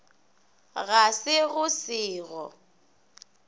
ga se go se go